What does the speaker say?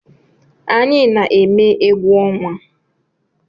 Anyi na-eme egwu ọnwa